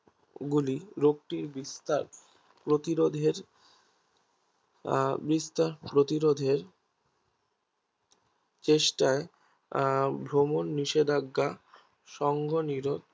গুলি রোগটির বিস্তার প্রতিরোধের আহ বিস্তার প্রতিরোধের চেষ্টা আহ ভ্রমণ নিষেধাজ্ঞা সঙ্গনিরোধ